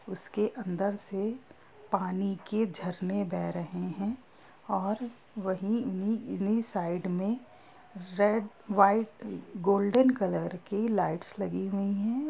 उसके अंदर से पानी के झरने बह रहे हैं और वहीं इन्ही-इन्ही साइड में रेड वाइट गोल्डन कलर की लाइट्स लगी हुई है।